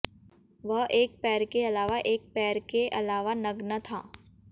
वह एक पैर के अलावा एक पैर के अलावा नग्न था